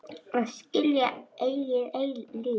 Að skilja eigið líf.